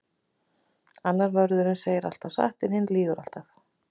Annar vörðurinn segir alltaf satt en hinn lýgur alltaf.